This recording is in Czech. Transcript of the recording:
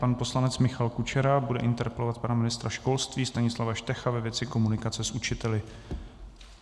Pan poslanec Michal Kučera bude interpelovat pana ministra školství Stanislava Štecha ve věci komunikace s učiteli.